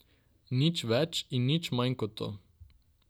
Nič več in nič manj kot to.